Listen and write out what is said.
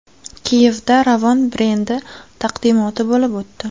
Kiyevda Ravon brendi taqdimoti bo‘lib o‘tdi.